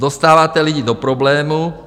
Dostáváte lidi do problémů.